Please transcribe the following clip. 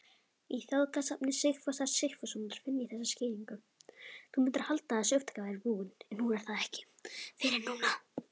Í þjóðsagnasafni Sigfúsar Sigfússonar finn ég þessa skýringu